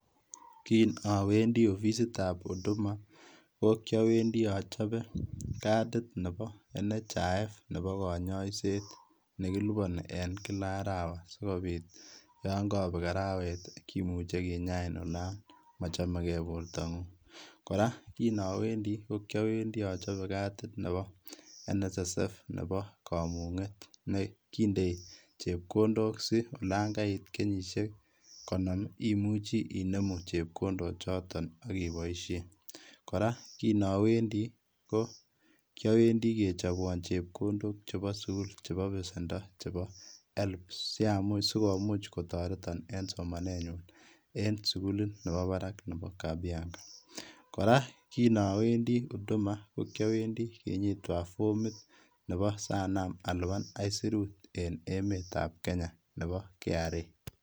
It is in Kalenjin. Kinowendi ofisitab Huduma kokiawendi achope katit nepo NHIF nepo konyoiset nekiliponi en kila arawa sikobit yon kobek arawet kimuche kinyain anan mochomekee bortang'ung, kora kinowendi kokyowendi achope katit nepo NSSF nepo kamung'et nekondoi chepkondok si olan kait kenyisiek konom imuche inemu chepkondochoto akiboisien, kora kinowendi kokyowendi kechobwon chepkondok chepo sukul chepo pesendo chepo Helb sikumuch kotoreton en somanenyun en sikulit nepo parak nepo Kabianga ,kora kinowendi Huduma kokyowendi kinyitwan formit nepo sanam alipan aisurut en emetab Kenya nepo KRA.